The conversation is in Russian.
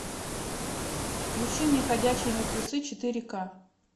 включи мне ходячие мертвецы четыре ка